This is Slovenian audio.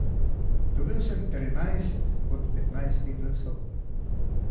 Dobil sem trinajst od petnajstih glasov.